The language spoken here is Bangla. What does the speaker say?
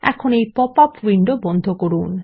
এখন এই পপআপ উইন্ডো বন্ধ করুন